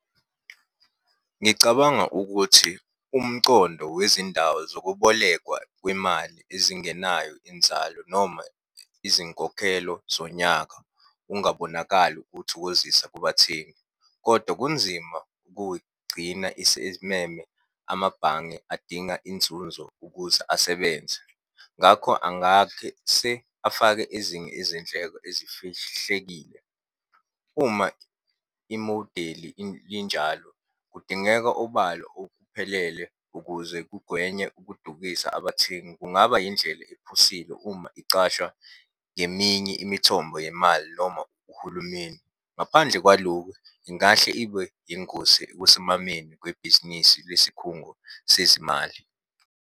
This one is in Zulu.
Ngicabanga ukuthi umcondo wezindawo zokubolekwa kwemali ezingenayo inzalo noma izinkokhelo zonyaka ungabonakali ukuthokozisa kubathengi, kodwa kunzima ukuyigcina isimeme amabhange adinga inzunzo ukuze asebenze. Ngakho afake ezinye izindleko ezifihlekile. Uma imodeli linjalo, kudingeka obalo okuphelele ukuze kugwenywe ukudukisa abathengi. Kungaba yindlela ephusile uma icasha ngeminye imithombo yemali noma uhulumeni. Ngaphandle kwaloku, ingahle ibe yingozi ekusimameni kwebhizinisi lesikhungo sezimali.